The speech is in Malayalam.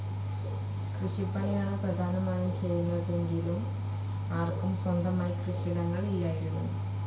കൃഷിപ്പണിയാണ് പ്രധാനമായും ചെയ്തിരുന്നതെങ്കിലും ആർക്കും സ്വന്തമായി കൃഷിയിടങ്ങൾ ഇല്ലായിരുന്നു.